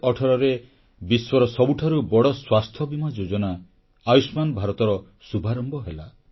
2018ରେ ବିଶ୍ୱର ସବୁଠାରୁ ବଡ଼ ସ୍ୱାସ୍ଥ୍ୟବୀମା ଯୋଜନା ଆୟୁଷ୍ମାନ ଭାରତର ଶୁଭାରମ୍ଭ ହେଲା